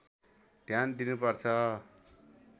ध्यान दिनुपर्छ